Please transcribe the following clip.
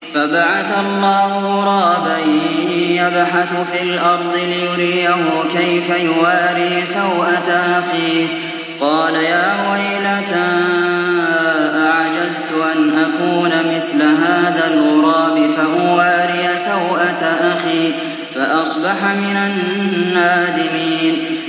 فَبَعَثَ اللَّهُ غُرَابًا يَبْحَثُ فِي الْأَرْضِ لِيُرِيَهُ كَيْفَ يُوَارِي سَوْءَةَ أَخِيهِ ۚ قَالَ يَا وَيْلَتَا أَعَجَزْتُ أَنْ أَكُونَ مِثْلَ هَٰذَا الْغُرَابِ فَأُوَارِيَ سَوْءَةَ أَخِي ۖ فَأَصْبَحَ مِنَ النَّادِمِينَ